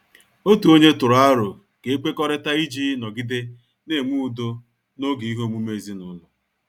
Otu ọnye tụrụ aro ka e kwekọrịta iji nọgide na-enwe udo n'oge ihe omume ezinụlọ.